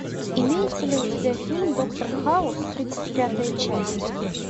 имеется ли у тебя фильм доктор хаус тридцать пятая часть